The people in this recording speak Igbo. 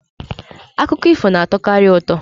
Akụkọ ifo na-atọkarị ụtọ.